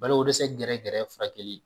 Baloko dɛsɛ gɛrɛ gɛrɛ furakɛli